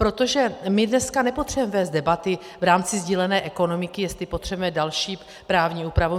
Protože my dneska nepotřebujeme vést debaty v rámci sdílené ekonomiky, jestli potřebujeme další právní úpravu.